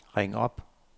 ring op